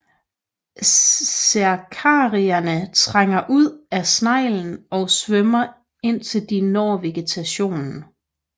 Cercariaerne trænger ud af sneglen og svømmer indtil de når vegetation